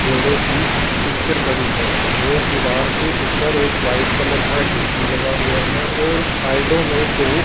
घोड़े की पिक्चर पड़ी है और दीवार के ऊपर एक व्हाइट कलर का ए_सी लगा हुआ है और साइडों में दो--